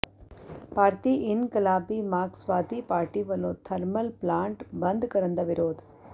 ਭਾਰਤੀ ਇਨਕਲਾਬੀ ਮਾਰਕਸਵਾਦੀ ਪਾਰਟੀ ਵਲੋਂ ਥਰਮਲ ਪਲਾਂਟ ਬੰਦ ਕਰਨ ਦਾ ਵਿਰੋਧ